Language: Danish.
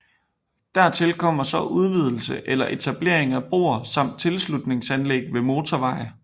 Dertil kommer så udvidelse eller etablering af broer samt tilslutningsanlæg ved motorveje